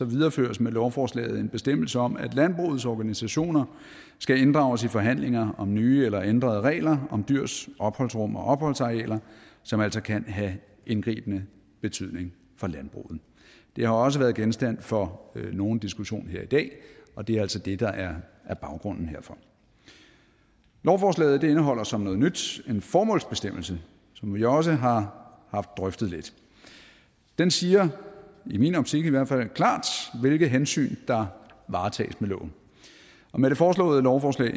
videreføres med lovforslaget en bestemmelse om at landbrugets organisationer skal inddrages i forhandlinger om nye eller ændrede regler om dyrs opholdsrum og opholdsarealer som altså kan have indgribende betydning for landbruget det har også været genstand for nogen diskussion her i dag og det er altså det der er baggrunden herfor lovforslaget indeholder som noget nyt en formålsbestemmelse som vi også har haft drøftet lidt den siger i min optik i hvert fald klart hvilke hensyn der varetages med loven og med det foreslåede lovforslag